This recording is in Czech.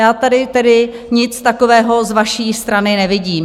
Já tady tedy nic takového z vaší strany nevidím.